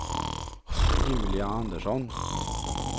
Julia Andersson